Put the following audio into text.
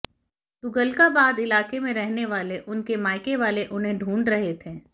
तुगलकाबाद इलाके में रहने वाले उनके मायके वाले उन्हें ढूंढ रहे थे